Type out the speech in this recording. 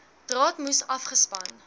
draad moes afgespan